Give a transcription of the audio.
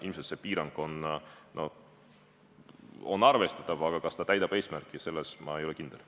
Ilmselt on see piirang arvestatav, aga kas ta täidab eesmärki, selles ma ei ole kindel.